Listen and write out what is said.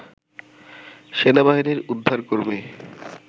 সেনাবাহিনীর উদ্ধার কর্মী